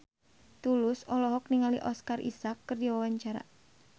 Tulus olohok ningali Oscar Isaac keur diwawancara